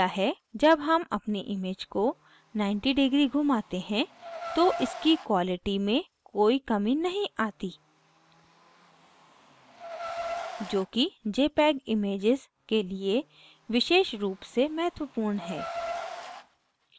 जब हम अपनी image को 90 degrees घुमाते हैं तो इसकी quality में कोई कमी नहीं आती जोकि jpeg images के लिए विशेष रूप से महत्वपूर्ण है